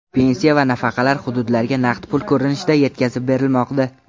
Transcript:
Pensiya va nafaqalar hududlarga naqd pul ko‘rinishida yetkazib berilmoqda.